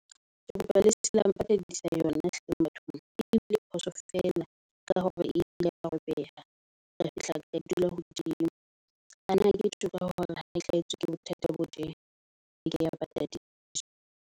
Ke kopa le seke la mpatadisa yona hleng bathong e bile phoso feela ka hore eile ya robeha. Re fihla re e dula hodimo. Ana ke ba hore hao hlahetswe ke bothata bo tjena bekeng ya ba patadiso.